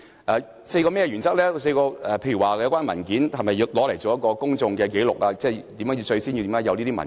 該4項原則包括，有關文件是否用作公眾紀錄，即當初為何要提交這些文件？